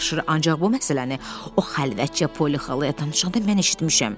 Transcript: Ancaq bu məsələni o xəlvətcə Poli xalaya danışanda mən eşitmişəm.